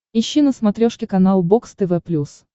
ищи на смотрешке канал бокс тв плюс